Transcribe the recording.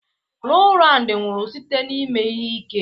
Rowland nwụrụ site n'ime ihe ike.